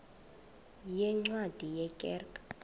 yeencwadi ye kerk